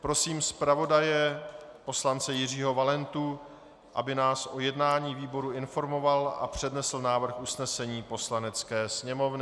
Prosím zpravodaje poslance Jiřího Valentu, aby nás o jednání výboru informoval a přednesl návrh usnesení Poslanecké sněmovny.